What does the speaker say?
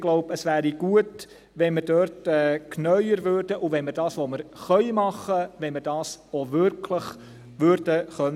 Ich glaube, es wäre gut, wenn wir dort genauer wären und das, was wir machen können, auch wirklich realisieren könnten.